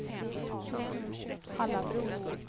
Hallabro